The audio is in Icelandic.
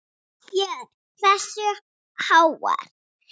Björn: Hversu háar?